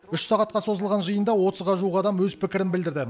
үш сағатқа созылған жиында отызға жуық адам өз пікірін білдірді